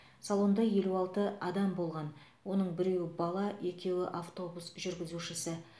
салонда елу алты адам болған оның біреуі бала екеуі автобус жүргізушісі